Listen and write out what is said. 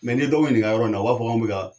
n'i ye dɔ nininka yɔrɔ in na u b'a fɔ ko anw bi ka